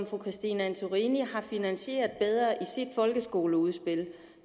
fru christine antorini har finansieret bedre i sit folkeskoleudspil